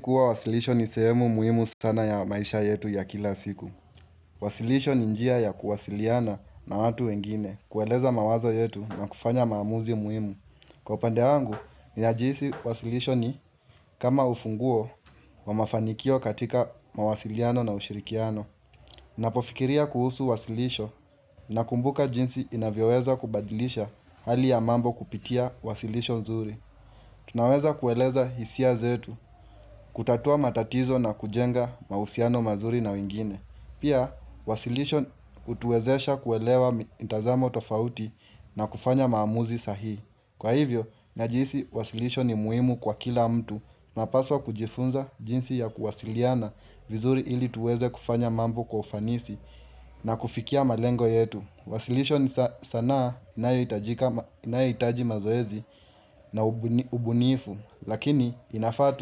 Kuwa wasilisho ni sehemu muhimu sana ya maisha yetu ya kila siku. Wasilisho ni njia ya kuwasiliana na watu wengine, kueleza mawazo yetu na kufanya maamuzi muhimu. Kwa upande wangu, ninajihisi wasilisho ni kama ufunguo wa mafanikio katika mawasiliano na ushirikiano. Napofikiria kuhusu wasilisho nakumbuka jinsi inavyoweza kubadilisha hali ya mambo kupitia wasilisho nzuri. Tunaweza kueleza hisia zetu, kutatua matatizo na kujenga mahusiano mazuri na wingine. Pia, wasilisho utuwezesha kuelewa mtazamo tofauti na kufanya maamuzi sahihi. Kwa hivyo, najihisi wasilisho ni muimu kwa kila mtu tunapaswa kujifunza jinsi ya kuwasiliana vizuri ili tuweze kufanya mambo kwa ufanisi na kufikia malengo yetu. Wasilisho ni sanaa inayohitaji mazoezi na ubunifu, lakini inafaa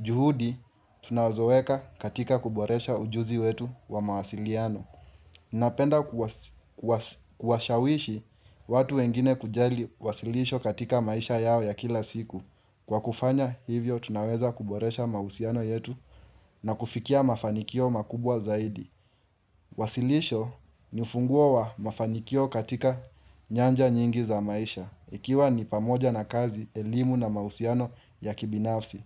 juhudi tunazoweka katika kuboresha ujuzi wetu wa mawasiliano. Napenda kuwashawishi watu wengine kujali wasilisho katika maisha yao ya kila siku. Kwa kufanya hivyo tunaweza kuboresha mahusiano yetu na kufikia mafanikio makubwa zaidi. Wasilisho ni ufunguo wa mafanikio katika nyanja nyingi za maisha Ikiwa ni pamoja na kazi, elimu na mahusiano ya kibinafsi.